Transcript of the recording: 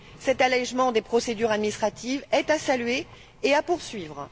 Cet allégement des procédures administratives est à saluer et à poursuivre.